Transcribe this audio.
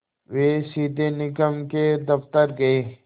वे सीधे निगम के दफ़्तर गए